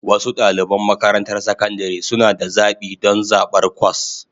Wasu ɗaliban makarantar sakandare suna da zaɓi don zaɓar kwas